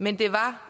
men det var